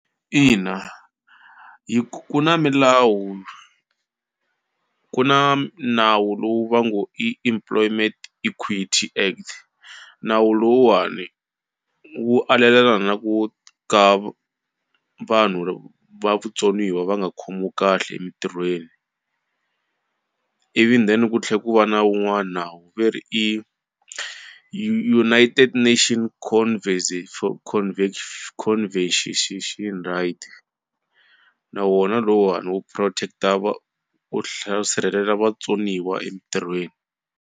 Ina hi ku na milawu ku na nawu lowu va ngo i Employment Equity Act nawu lowuwani wu alelana na ku ka vanhu va vutsoniwa va nga khomiwi kahle emitirhweni ivi then ku tlhela ku va na wun'wana nawu ve ri i United Nation for right na wona lowuwani wu protect-a va wu wu sirhelela vatsoniwa emitirhweni.